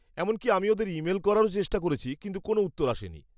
এমনকি আমি ওদের ইমেল করারও চেষ্টা করেছি কিন্তু কোনও উত্তর আসেনি।